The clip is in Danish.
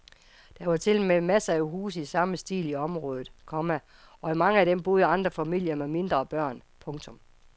Der var tilmed masser af huse i samme stil i området, komma og i mange af dem boede andre familier med mindre børn. punktum